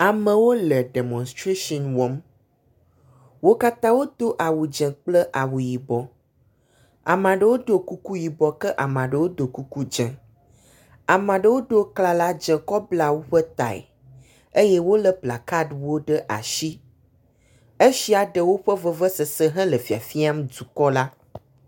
Amewo le demɔnstration wɔm. Wo katã wodo awu dze kple awu yibɔ. Ame aɖewo ɖo kuku yibɔ ke amea ɖewo ɖo kuku dze. Amea ɖewo do klala dze kɔ bla woƒe tae eye wo le plakaɖiwo ɖe asi. Esia ɖe woƒe vevesese hele fiafiam dɔukɔ la.